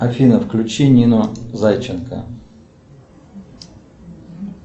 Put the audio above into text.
афина включи нину зайченко